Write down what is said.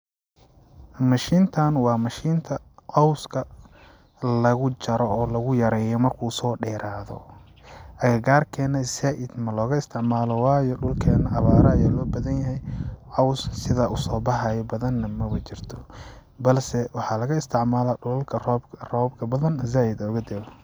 Mashintaan waa mashinta cawska lagu jaro oo lagu yareeyo markuu soo dherado agagaarkena zaid ma looga isticmaalo waayo dhulkeena abaaro ayaa loo badan yahay caws sidaa usoo baxayo badan nah maba jirto bo balse waxaa laga isticmalaa dhulalka robabka badan zaid ooga da'o.